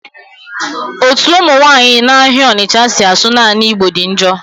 Ọtu ụmụ nwanyị na-ahịa Ọnịtcha si asụ naanị igbo dị njọ.